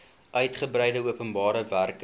uitgebreide openbare werke